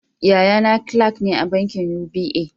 Yaya na kilak ne a bankin UBA